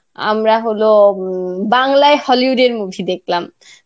আ আমরা হলো উম বাংলায় Hollywood এর movie দেখলাম.